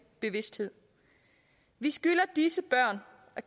bevidsthed vi skylder disse børn at